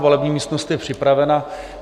Volební místnost je připravena.